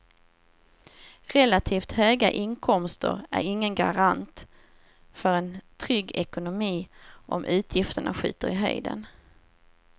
Relativt höga inkomster är ingen garant för en trygg ekonomi om utgifterna skjuter i höjden.